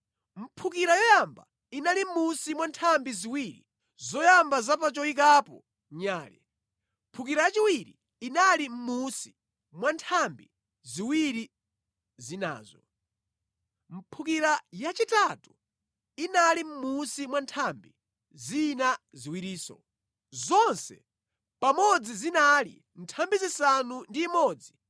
Mphukira yoyamba inali mʼmunsi mwa nthambi ziwiri zoyamba za pa choyikapo nyale. Mphukira yachiwiri inali mʼmunsi mwa nthambi ziwiri zinazo. Mphukira yachitatu inali mʼmunsi mwa nthambi zina ziwirinso. Zonse pamodzi zinali nthambi zisanu ndi imodzi